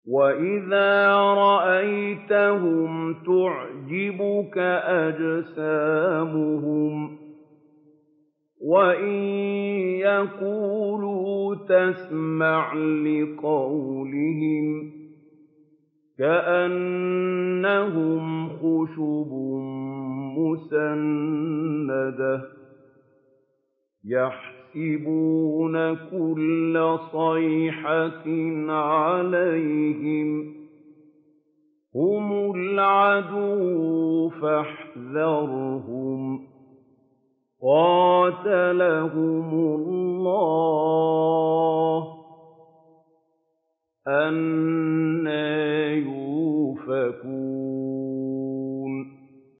۞ وَإِذَا رَأَيْتَهُمْ تُعْجِبُكَ أَجْسَامُهُمْ ۖ وَإِن يَقُولُوا تَسْمَعْ لِقَوْلِهِمْ ۖ كَأَنَّهُمْ خُشُبٌ مُّسَنَّدَةٌ ۖ يَحْسَبُونَ كُلَّ صَيْحَةٍ عَلَيْهِمْ ۚ هُمُ الْعَدُوُّ فَاحْذَرْهُمْ ۚ قَاتَلَهُمُ اللَّهُ ۖ أَنَّىٰ يُؤْفَكُونَ